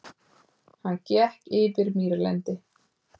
Hann gekk yfir mýrlendi.